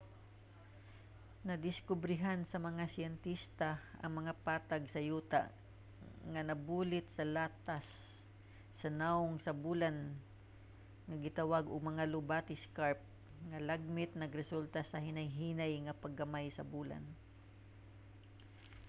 nadiskobrehan sa mga siyentista ang mga patag sa yuta nga nabulit sa latas sa nawong sa bulan nga gitawag og mga lobate scarp nga lagmit nagresulta sa hinay-hinay nga pagamay sa bulan